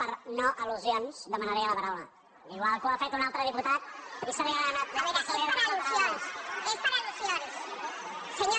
per no al·lusions demanaria la paraula igual que ho ha fet un altre diputat i se li ha donat la paraula